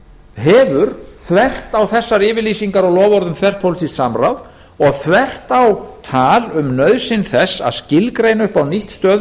hefur þvert á þessar yfirlýsingar og loforð um þverpólitískt samráð og þvert á tal um nauðsyn þess að skilgreina upp á nýtt stöðu